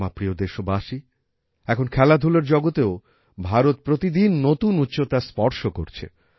আমার প্রিয় দেশবাসী এখন খেলাধুলার জগতেও ভারত প্রতিদিন নতুন উচ্চতা স্পর্শ করছে